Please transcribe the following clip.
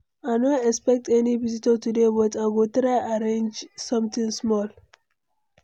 I no expect any visitor today, but I go try arrange something small.